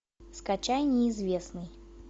скачай неизвестный